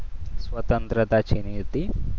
સ્વતંત્રતા છીનવી હતી.